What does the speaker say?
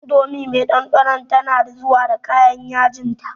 Indomie me ɗanɗanon tana zuwa da kayan yajinta.